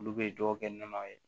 Olu bɛ dɔw kɛ nɔnɔ ye